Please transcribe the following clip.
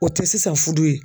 O te sisan fudu ye.